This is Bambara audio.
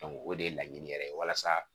o de ye laɲini yɛrɛ ye walasa